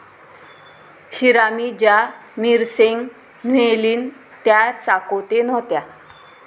शिरामीं ज्या मिरसेंग न्हेलीन त्या चाकोते नव्हत्या.